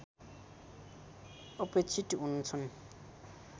अपेक्षित हुन्छन्